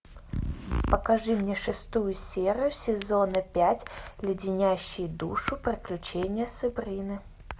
покажи мне шестую серию сезона пять леденящие душу приключения сабрины